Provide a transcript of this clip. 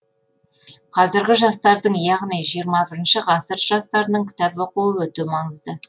қазіргі жастардың яғни жиырма бірінші ғасыр жастарының кітап оқуы өте маңызды